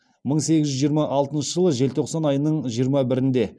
мың сегіз жүз жиырма алтыншы жылы желтоқсан айының жиырма бірінде